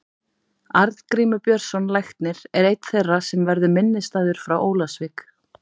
Arngrímur Björnsson læknir er einn þeirra sem verður minnisstæður frá Ólafsvík.